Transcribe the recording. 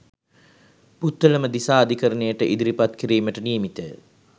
පුත්තලම දිසා අධිකරණයට ඉදිරිපත් කිරීමට නියමිතය.